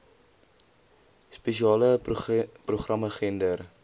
spesiale programme gender